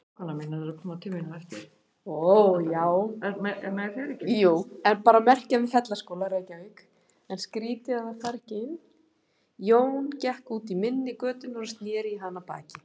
Jón gekk út í mynni götunnar og sneri í hana baki.